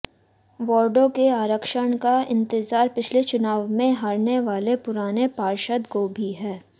वार्डों के आरक्षण का इंतजार पिछले चुनाव में हारने वाले पुराने पार्षदों को भी है